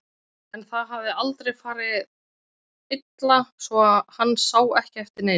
En það hafði aldrei farið illa svo hann sá ekki eftir neinu.